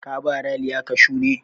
Ka ba Raliya kashu ne?